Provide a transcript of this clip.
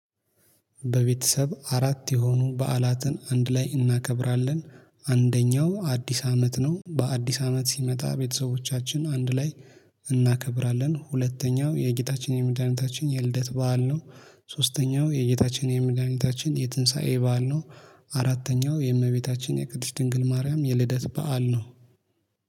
በቤተሰብ አራት የሆኑ በዓላትን አንድ ላይ እናከብራለን አንደኛው አዲስ አመት ነው። በአዲስ አመት ሲመጣ ቤተሰቦቻችን አንድ ላይ እናከብራለን። ሁለተኛው የጌታችን የመድኃኒታችን የልደት በዓል ነው። ሶስተኛው የጌታችን የመድኃኒታችን የትንሳኤ በዓል ነው። አራተኛው የእመቤታችን የቅድስት ድንግል ማርያም የልደት በዓል ነው